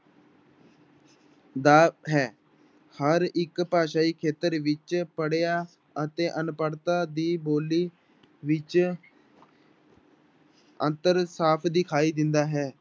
ਦਾ ਹੈ ਹਰ ਇੱਕ ਭਾਸ਼ਾਈ ਖੇਤਰ ਵਿੱਚ ਪੜ੍ਹਿਆ ਅਤੇ ਅਨਪੜ੍ਹਤਾ ਦੀ ਬੋਲੀ ਵਿੱਚ ਅੰਤਰ ਸਾਫ਼ ਦਿਖਾਈ ਦਿੰਦਾ ਹੈ।